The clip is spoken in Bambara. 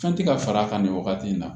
Fɛn tɛ ka fara a kan nin wagati in na